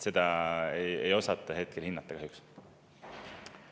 Seda ei osata hetkel kahjuks hinnata.